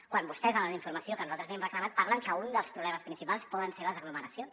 quan vostès en la informació que nosaltres li hem reclamat parlen que un dels problemes principals poden ser les aglomeracions